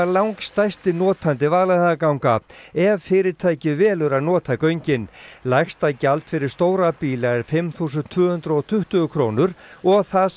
langstærsti notandi Vaðlaheiðarganga ef fyrirtækið velur að nota göngin lægsta gjald fyrir stóra bíla er fimm þúsund tvö hundruð og tuttugu krónur og það